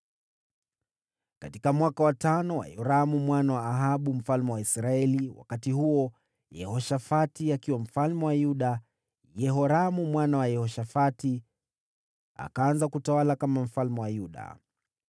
Katika mwaka wa tano wa Yoramu mwana wa Ahabu mfalme wa Israeli, wakati huo Yehoshafati akiwa mfalme wa Yuda, Yehoramu mwana wa Yehoshafati akaanza kutawala kama mfalme wa Yuda.